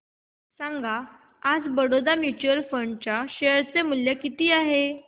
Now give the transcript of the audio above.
सांगा आज Baroda mutual fund च्या शेअर चे मूल्य किती आहे